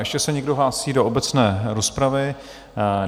Ještě se někdo hlásí do obecné rozpravy?